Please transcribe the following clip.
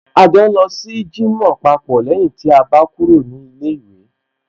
A jọ ń lọ sí jímọ̀ papọ̀ lẹ́yìn tí a bá kúrò ní ilé ìwé